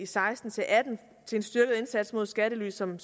seksten til atten til en styrket indsats mod skattely som